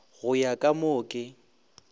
go ya ka mo ke